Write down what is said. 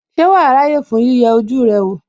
Ṣé wàá ráyè fún yíyẹ ojú rẹ wò?